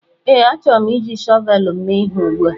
ee, achọrọ m iji shọvel m mee ihe ugbu a